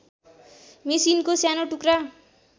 मेसिनको सानो टुक्रा